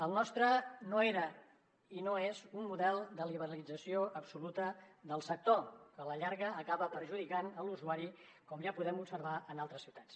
el nostre no era i no és un model de liberalització absoluta del sector que a la llarga acaba perjudicant l’usuari com ja podem observar en altres ciutats